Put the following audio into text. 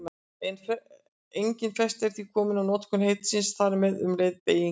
Engin festa er því komin á notkun heitisins og þar með um leið beygingu þess.